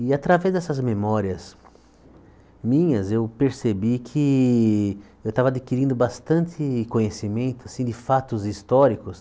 E, através dessas memórias minhas, eu percebi que eu estava adquirindo bastante conhecimento assim de fatos históricos.